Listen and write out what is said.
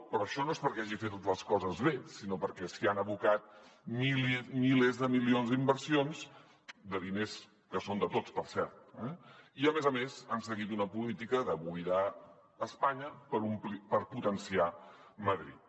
però això no és perquè hagi fet les coses bé sinó perquè s’hi han abocat milers de milions d’inversions de diners que són de tots per cert i a més a més han seguit una política de buidar espanya per potenciar madrid